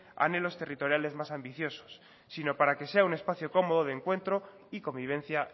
anhelos territoriales más ambiciosos sino para que sea un espacio cómodo de encuentro y convivencia